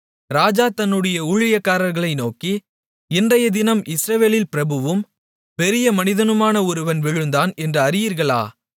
ராஜா தன்னுடைய ஊழியக்காரர்களை நோக்கி இன்றையதினம் இஸ்ரவேலில் பிரபுவும் பெரிய மனிதனுமான ஒருவன் விழுந்தான் என்று அறியீர்களா